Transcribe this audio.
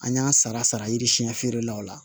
An y'a sara sara yiri siɲɛ feerelaw la